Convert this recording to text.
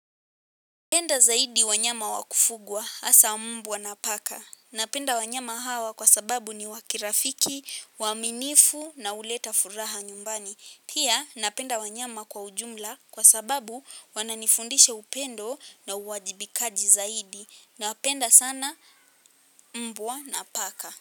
Penda zaidi wanyama wa kufugwa hasa mbwa na paka. Napenda wanyama hawa kwa sababu ni wa kirafiki, waaminifu na uleta furaha nyumbani. Pia, napenda wanyama kwa ujumla kwa sababu wananifundisha upendo na uwajibikaji zaidi. Napenda sana mbwa na paka.